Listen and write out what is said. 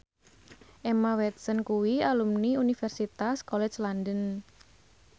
Emma Watson kuwi alumni Universitas College London